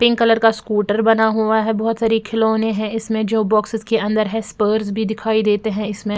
pink colour का scooter बना हुआ है बहोत सारे खिलो ने है इसमें जो बॉक्सेस के अंदर है स्पर्स भी दिखाई देते है इसमें--